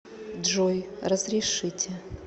джой разрешите